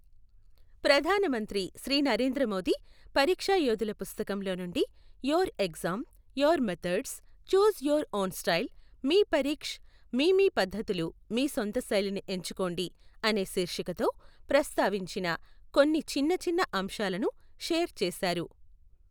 ప్రధాన మంత్రి శ్రీ నరేంద్ర మోదీ పరీక్షా యోధుల పుస్తకంలో నుండి your exam, your methods choose your own style, మీ పరీక్ష్, మీ మీ పద్ధతులు మీ సొంత శైలిని ఎంచుకోండి అనే శీర్షికతో ప్రస్తావించిన కొన్ని చిన్న చిన్న అంశాలను షేర్ చేశారు.